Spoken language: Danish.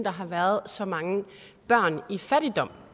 der har været så mange børn i fattigdom